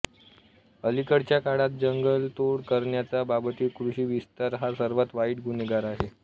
अलीकडच्या काळात जंगलतोड करण्याच्या बाबतीत कृषी विस्तार हा सर्वात वाईट गुन्हेगार आहे